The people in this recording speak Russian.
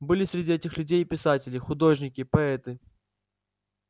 были среди этих людей и писатели художники поэты